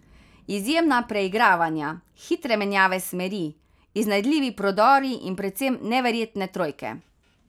Izjemna preigravanja, hitre menjave smeri, iznajdljivi prodori in predvsem neverjetne trojke.